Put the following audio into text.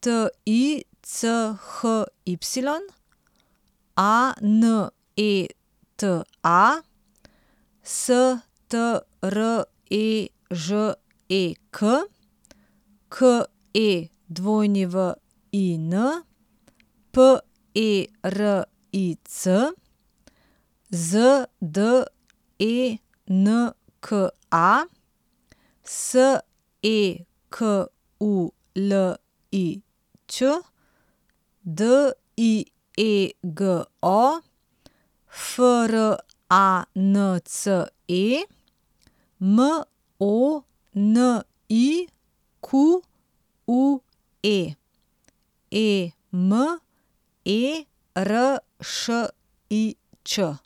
T I C H Y; A N E T A, S T R E Ž E K; K E W I N, P E R I C; Z D E N K A, S E K U L I Ć; D I E G O, F R A N C E; M O N I Q U E, E M E R Š I Č.